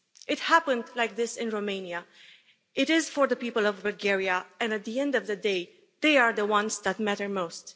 It happened like this in Romania, it is for the people of Bulgaria and, at the end of the day, they are the ones that matter most.